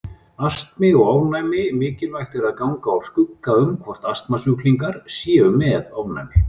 Astmi og ofnæmi Mikilvægt er að ganga úr skugga um hvort astmasjúklingar séu með ofnæmi.